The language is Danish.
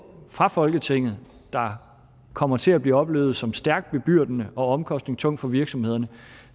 fra folketinget der kommer til at blive oplevet som stærkt bebyrdende og omkostningstunge for virksomhederne